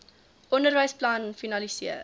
onderwys plan finaliseer